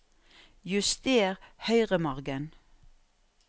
Juster høyremargen